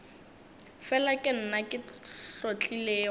fela ke nna ke hlotlilego